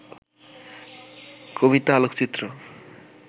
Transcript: কবিতা, আলোকচিত্র